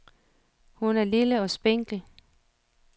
Hun er lille og spinkel.